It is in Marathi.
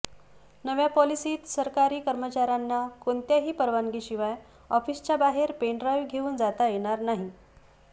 नव्या पॉलिसीत सरकारी कर्मचाऱ्यांना कोणत्याही परवानगीशिवाय ऑफिसच्या बाहेर पेन ड्राइव्ह घेऊन जाता येणार नाही